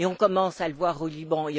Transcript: On commence à le voir au Liban.